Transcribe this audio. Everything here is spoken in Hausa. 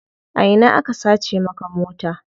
A ina aka sace maka mota?